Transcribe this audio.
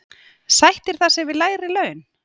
Sættir það sig við lægri laun?